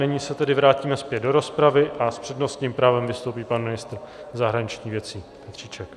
Nyní se tedy vrátíme zpět do rozpravy a s přednostním právem vystoupí pan ministr zahraničních věcí Petříček.